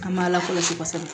An m'a lakɔlɔsi kosɛbɛ